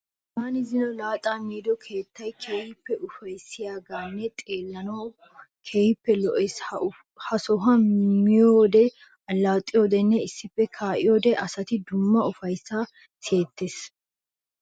Taani zino laaxaa miido keettayi keehippe ufayissiyanne xeellanawu keehippe lo'ees. Ha sohuwan miyoode, allaxxiyodenne issippe kaa'iyode asaassi dumma ufayissayi siyettees.